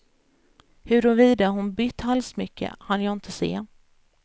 Huruvida hon bytt halssmycke hann jag inte se.